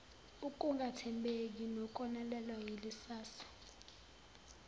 ukungathembeki nokonakalelwa yikusasa